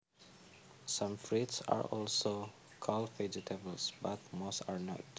Some fruits are also called vegetables but most are not